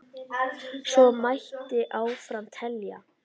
Svo mætti áfram telja.